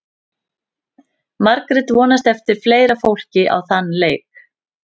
Margrét vonast eftir fleira fólki á þann leik.